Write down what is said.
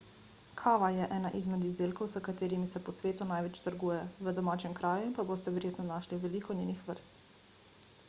kava je ena izmed izdelkov s katerim se po svetu največ trguje v domačem kraju pa boste verjetno našli veliko njenih vrst